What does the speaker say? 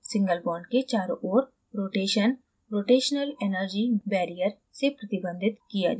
single bond के चारों ओर rotation rotational energy barrier से प्रतिबंधित किया जाता है